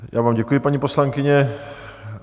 Já vám děkuji, paní poslankyně.